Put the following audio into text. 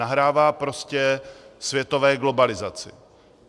Nahrává prostě světové globalizaci.